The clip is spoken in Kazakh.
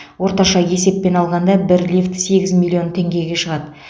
орташа есеппен алғанда бір лифт сегіз миллион теңгеге шығады